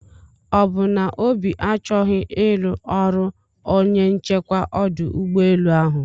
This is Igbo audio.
ọbụ na obi achọghị iru ọrụ onye nchekwa ọdụ ụgbọ enu ahụ?